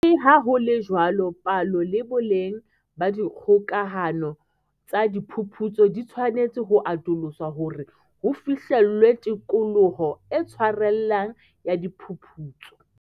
Le ha ho le jwalo, palo le boleng ba dikgokahano tsa diphuputso di tshwanetse ho atoloswa hore ho fihlellwe tikoloho e tshwarellang ya diphuputso.